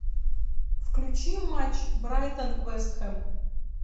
включи матч брайтон вест хэм